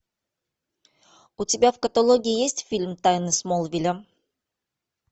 у тебя в каталоге есть фильм тайны смолвиля